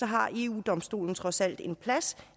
har eu domstolen trods alt en plads